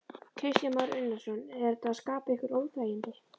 Kristján Már Unnarsson: Er þetta að skapa ykkur óþægindi?